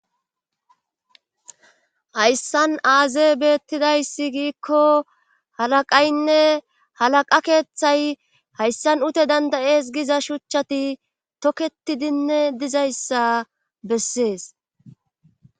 hayssan aaze beettidayssi giikko halaqaynne halaqa keeththay hayssan ute dandayees giza shuchchati tokketidinne dizayssa bessees.